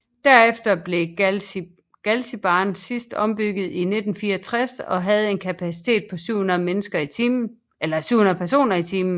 Derefter blev Galzigbahn sidst ombygget i 1964 og havde en kapacitet på 700 personer i timen